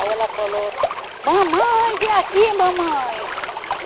Aí ela falou, mamãe, vem aqui, mamãe.